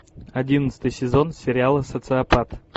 одиннадцатый сезон сериала социопат